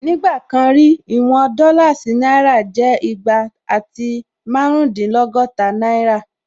Nígbà kan rí, ìwọn dọ́là sí náírà jẹ́ igba àti márùndínlọ́gọ́ta náírà